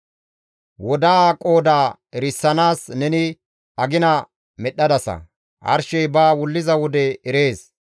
Wodaa qooda erisanaas neni agina medhdhadasa; arshey ba wulliza wode erees.